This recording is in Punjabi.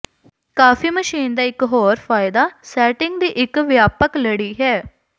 ਕਾਫੀ ਮਸ਼ੀਨ ਦਾ ਇਕ ਹੋਰ ਫਾਇਦਾ ਸੈਟਿੰਗ ਦੀ ਇੱਕ ਵਿਆਪਕ ਲੜੀ ਹੈ